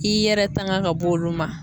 I yɛrɛ tanga ka b'olu ma.